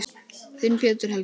Þinn, Pétur Helgi.